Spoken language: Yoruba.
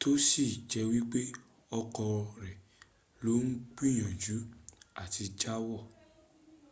tó sì jẹ́ wípé ọkọ̀ rẹ̀ ló ń gbìyànjú àti já wọ̀